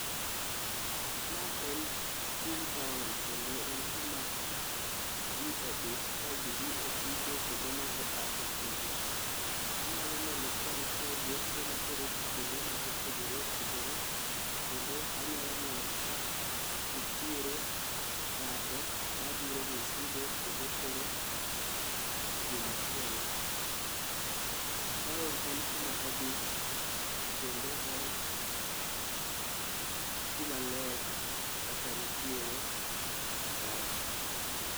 Ma en chuny taon kendo en kuma ji odich ka ji dhi e tije kendo moko a e tije. Anyalo neno ka nitiere geche matero ji kuonde ma opogore opogore kendo anyalo neno ka nitiere ng'ato madhiro misigo kendo tero kumachielo. Taon en kuma odich kendo en kumaler kaka nitiere kae.